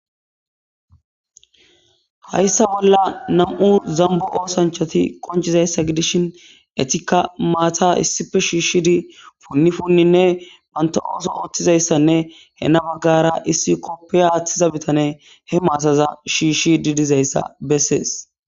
Haysa bolla nam'u zambo osanchat qoncizaysa gidishn etika Mata issippe shishid pun puninne banta otha othizaydanne hen bagara issi kofiya athiza bitaney he masaza athid dizaysa beses.